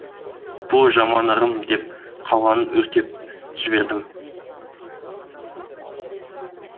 бұл жаман ырым деп қалғанын өртеп жібердім